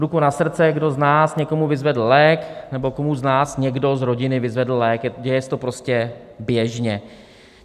Ruku na srdce, kdo z nás někomu vyzvedl lék, nebo komu z nás někdo z rodiny vyzvedl lék, děje se to prostě běžně.